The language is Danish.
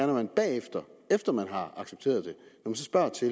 når man bagefter efter man har accepteret det spørger til